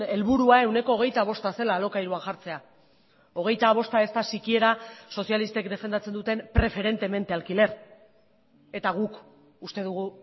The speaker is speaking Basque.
helburua ehuneko hogeita bosta zela alokairuan jartzea hogeita bosta ez da sikiera sozialistek defendatzen duten preferentemente alquiler eta guk uste dugu